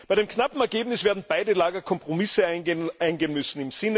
Bei dem knappen Ergebnis werden beide Lager Kompromisse eingehen müssen.